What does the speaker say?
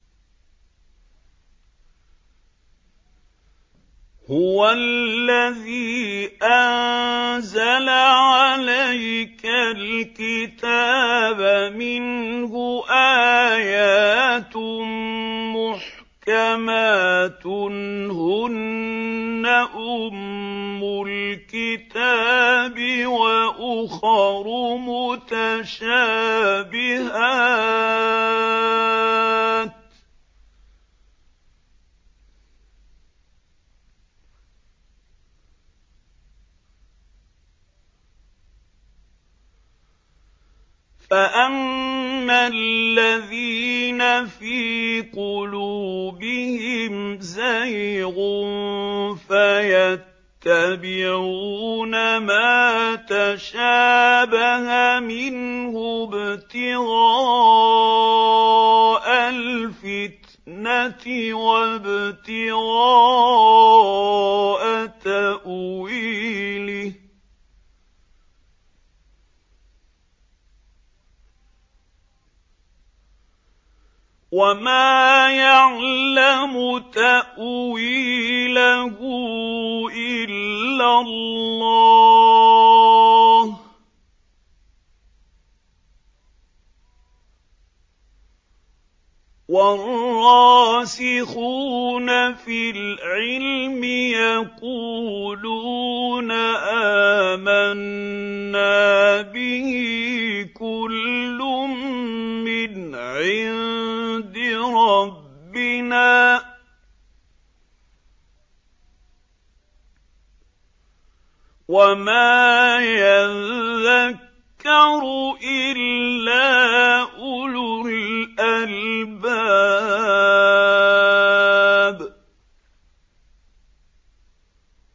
هُوَ الَّذِي أَنزَلَ عَلَيْكَ الْكِتَابَ مِنْهُ آيَاتٌ مُّحْكَمَاتٌ هُنَّ أُمُّ الْكِتَابِ وَأُخَرُ مُتَشَابِهَاتٌ ۖ فَأَمَّا الَّذِينَ فِي قُلُوبِهِمْ زَيْغٌ فَيَتَّبِعُونَ مَا تَشَابَهَ مِنْهُ ابْتِغَاءَ الْفِتْنَةِ وَابْتِغَاءَ تَأْوِيلِهِ ۗ وَمَا يَعْلَمُ تَأْوِيلَهُ إِلَّا اللَّهُ ۗ وَالرَّاسِخُونَ فِي الْعِلْمِ يَقُولُونَ آمَنَّا بِهِ كُلٌّ مِّنْ عِندِ رَبِّنَا ۗ وَمَا يَذَّكَّرُ إِلَّا أُولُو الْأَلْبَابِ